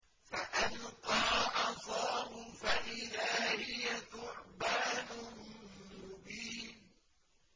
فَأَلْقَىٰ عَصَاهُ فَإِذَا هِيَ ثُعْبَانٌ مُّبِينٌ